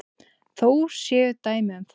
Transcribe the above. Þó séu dæmi um það.